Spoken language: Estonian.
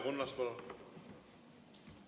Leo Kunnas, palun!